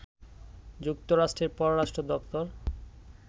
যুক্তরাষ্ট্রের পররাষ্ট্র দপ্তর